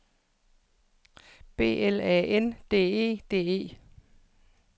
B L A N D E D E